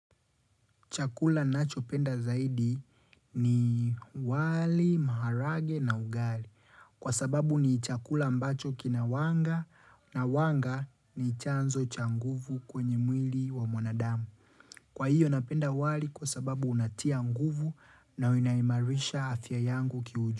Chakula nacho penda zaidi ni wali, maharage na ugali. Kwa sababu ni chakula ambacho kina wanga na wanga ni chanzo cha nguvu kwenye mwili wa mwanadamu. Kwa hiyo napenda wali kwa sababu unatia nguvu na inaimarisha afya yangu kiuju.